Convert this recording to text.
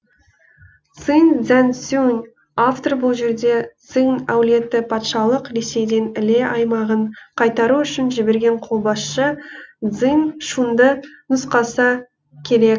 циң цзяңцзюн автор бұл жерде циң әулеті патшалық ресейден іле аймағын қайтару үшін жіберген қолбасшы цзин шунды нұсқаса керек